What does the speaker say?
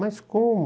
Mas como?